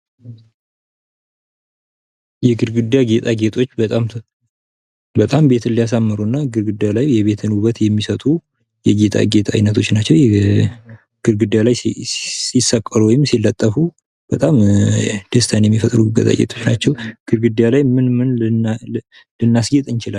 የግድግዳ ጌጣጌጦች በጣም ቤትን ልያሳምሩ እና ግድግዳ ላይ የቤትን ውበትን የሚሰጡ የጌጣጌጥ አይነቶች ናቸው። ግድግዳ ላይ ሲሰቀሉ ወይም ሲለጠፉ በጣም ደስታን የሚፈጥሩ ጌጣጌጦች ናቸው። ግድግዳ ላይ ምን ምን ልናስጌጥ እንችላለን።